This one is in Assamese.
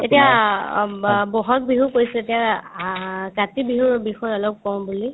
এতিয়া অম বা ব'হাগ বিহু পৰিছে এতিয়া আ কাতি বিহুৰ বিষয়ে অলপ কও বুলি